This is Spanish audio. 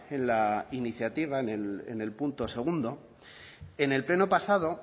en la iniciativa en el punto segundo en el pleno pasado